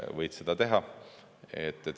Võid seda teha.